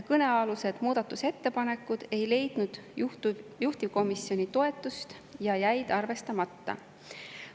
Kõnealused muudatusettepanekud ei leidnud juhtivkomisjoni toetust ja jäid arvestamata.